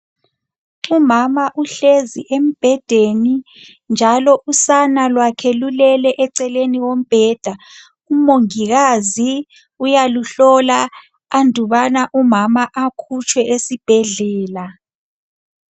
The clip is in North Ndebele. Umama uhlezi embhedeni njalo usana lwakhe lulele eceleni kombheda umongikazi uyaluhlola andubana umama akhutshwe esibhedlela